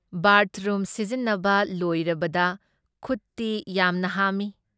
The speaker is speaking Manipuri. ꯕꯥꯔꯊꯔꯨꯝ ꯁꯤꯖꯤꯟꯅꯕ ꯂꯣꯏꯔꯕꯗ ꯈꯨꯠꯇꯤ ꯌꯥꯝꯅ ꯍꯥꯝꯃꯤ ꯫